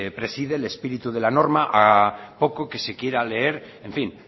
preside el espíritu de la norma a poco que se quiera leer en fin